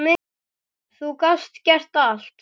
Þú gast gert allt.